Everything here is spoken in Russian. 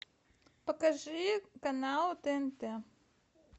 покажи канал тнт